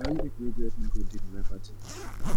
na only pipu wey go help me grow dey be my paddy